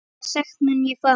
Hvaða sekt mun ég fá?